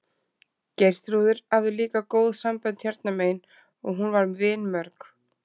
Geirþrúður hafði líka góð sambönd hérna megin og hún var vinmörg.